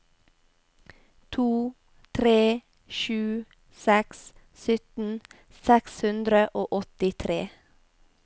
to tre sju seks sytten seks hundre og åttitre